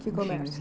Que comércio?